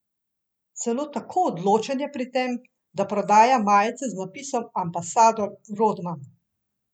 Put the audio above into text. Celo tako odločen je pri tem, da prodaja majice z napisom ambasador Rodman.